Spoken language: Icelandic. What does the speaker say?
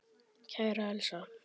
Kæra Elsa.